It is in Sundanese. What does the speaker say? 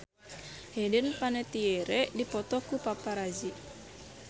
Hayden Panettiere dipoto ku paparazi